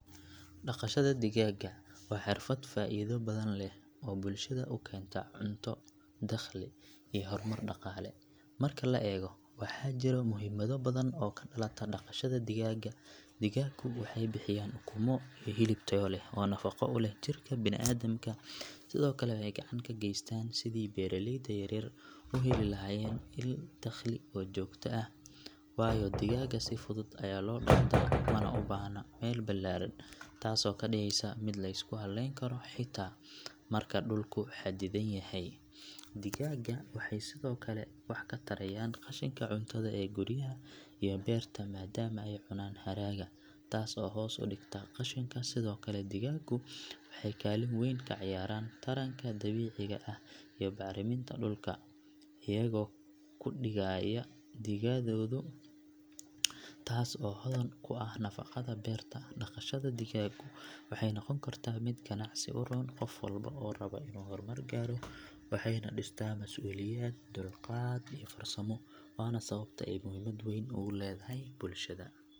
Dhaqashada digaaga waa xirfad faa'iido badan leh oo bulshada u keenta cunto, dakhli iyo horumar dhaqaale marka la eego waxaa jira muhiimado badan oo ka dhalata dhaqashada digaaga digaagu waxay bixiyaan ukumo iyo hilib tayo leh oo nafaqo u leh jidhka bini'aadamka sidoo kale waxay gacan ka geystaan sidii beeralayda yaryar u heli lahaayeen il dakhli oo joogto ah waayo digaaga si fudud ayaa loo dhaqdaa mana u baahna meel ballaaran taasoo ka dhigaysa mid la isku halleyn karo xitaa marka dhulku xadidan yahay digaaga waxay sidoo kale wax ka tarayaan qashinka cuntada ee guryaha iyo beerta maadaama ay cunaan hadhaaga taas oo hoos u dhigta qashinka sidoo kale digaagu waxay kaalin weyn ka ciyaaraan taranka dabiiciga ah iyo bacriminta dhulka iyagoo ku dhiigaaya digadooda taas oo hodan ku ah nafaqada beerta dhaqashada digaagu waxay noqon kartaa mid ganacsi u roon qof walba oo raba inuu horumar gaadho waxayna dhistaa mas’uuliyad, dulqaad iyo farsamo waana sababta ay muhiimad weyn ugu leedahay bulshadeena.